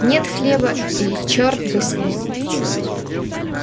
нет хлеба и черт бы с ним